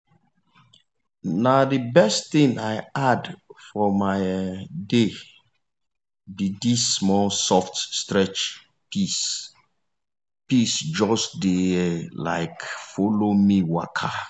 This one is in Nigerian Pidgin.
na the best thing i add for my um day be this small soft stretch peace just dey um follow me waka.